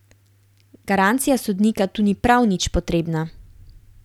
Garancija sodnika tu ni prav nič potrebna.